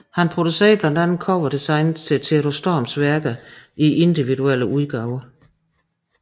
Han producerede blandt andet coverdesignet til Theodor Storms værker i individuelle udgaver